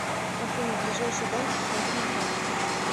афина ближайший банк покажи на карте